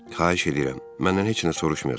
Xahiş edirəm, məndən heç nə soruşmayasız.